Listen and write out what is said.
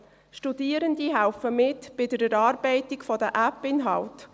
Studierende helfen mit bei der Erarbeitung der AppInhalte.